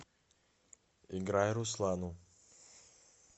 играй руслану